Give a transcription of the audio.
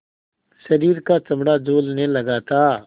शरीर का चमड़ा झूलने लगा था